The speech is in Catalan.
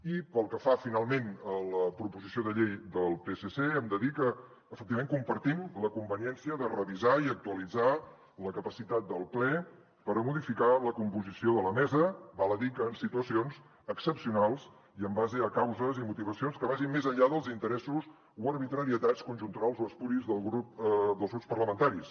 i pel que fa finalment a la proposició de llei del psc hem de dir que efectivament compartim la conveniència de revisar i actualitzar la capacitat del ple per a modificar la composició de la mesa val a dir que en situacions excepcionals i en base a causes i motivacions que vagin més enllà dels interessos o arbitrarietats conjunturals o espuris dels grups parlamentaris